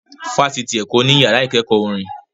Fáṣitì Èkó ní ìyára ìkẹ́kọ̀ọ́ orin